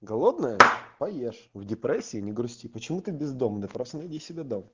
голодная поешь в депрессии не грусти почему ты бездомный просто найди себе дом